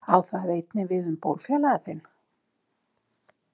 Á það einnig við um bólfélaga þinn?